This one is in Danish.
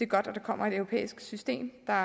godt at der kommer et europæisk system der